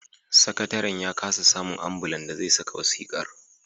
Sakataren ya kasa samun ambulan da zai sanya wasiƙar